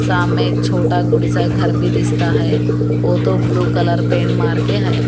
छोटा सा घर भी दिखाता है वो तो ब्लू कलर पेंट मारके है।